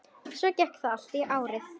Svona gekk þetta allt árið.